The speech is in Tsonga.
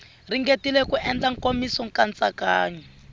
ringetile ku endla nkomiso nkatsakanyo